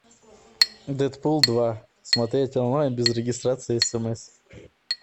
дэдпул два смотреть онлайн без регистрации и смс